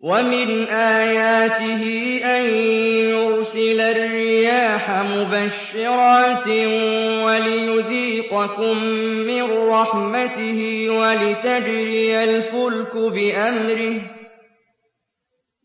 وَمِنْ آيَاتِهِ أَن يُرْسِلَ الرِّيَاحَ مُبَشِّرَاتٍ وَلِيُذِيقَكُم مِّن رَّحْمَتِهِ